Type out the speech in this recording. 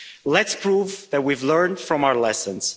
Let's prove that we've learned from our lessons.